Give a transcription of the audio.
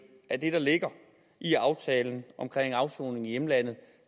at det der ligger i aftalen omkring afsoning i hjemlandet